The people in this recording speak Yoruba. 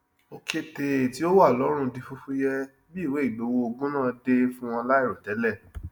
òketè tí ó wà lọrùn di fúfúyẹ bí ìwé ìgbowó ogún náà dé fún wọn láìrotẹlẹ